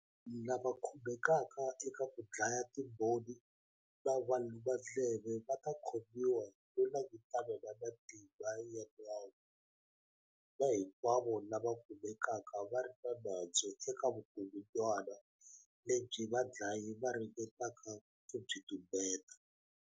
Lava va khumbekaka eka ku dlaya timbhoni na valumandleve va ta khomiwa no langutana na matimba ya nawu, na hinkwavo lava kumekaka va ri na nandzu eka vukungundwana lebyi vadlayi va ringetaka ku byi tumbeta.